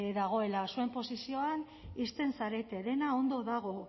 dagoela zuen posizioan ixten zarete dena ondo dago